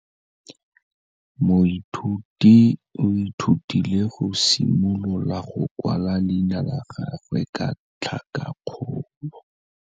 Moithuti o ithutile go simolola go kwala leina la gagwe ka tlhakakgolo.